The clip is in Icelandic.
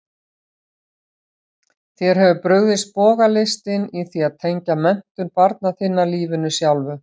Þér hefur brugðist bogalistin í því að tengja menntun barna þinna lífinu sjálfu.